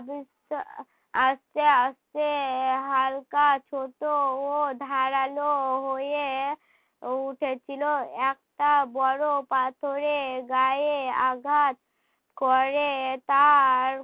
আস্তে আস্তে হালকা ছোট ও ধারালো হয়ে উঠেছিল। একটা বড়ো পাথরের গায়ে আঘাত করে তার